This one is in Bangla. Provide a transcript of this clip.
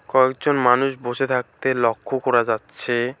কয়েকজন মানুষ বসে থাকতে লক্ষ করা যাচ্ছে।